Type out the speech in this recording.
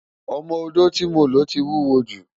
Ọmọ-odó tí mo lò ti wúwo jù.